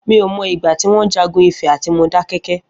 Mi ó mọ igbà tiwọn jàgùn Ifẹ àtí Módàkẹkẹ̀